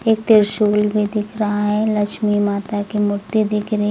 त्रिशूल भी दिख रहा है लक्ष्मी माता की मूर्ति दिख रही--